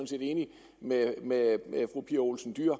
set enig med med fru pia olsen dyhr